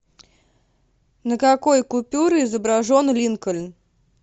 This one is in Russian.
на какой купюре изображен линкольн